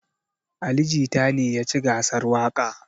Ali jita ne yaci gasar waƙa